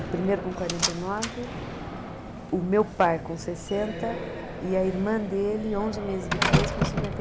O primeiro com quarenta e nove, o meu pai com sessenta e a irmã dele, onze meses depois, com cinquenta e.